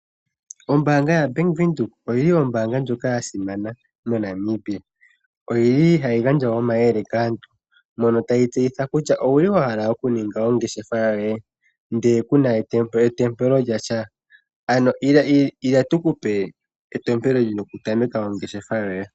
Ombaanga yaBank Windhoek oyili ombaanga ndjoka ya simana moNamibia, oyili hayi gandja omayele kaantu mono tayi tseyitha kutya: Owu li wahala oku ninga ongeshefa yoye ndele kuna etompelo lyasha? Ano ila tuku pe etompelo lyoku tameka ongeshefa yoye.